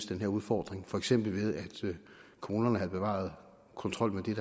den her udfordring for eksempel ved at kommunerne havde bevaret kontrollen med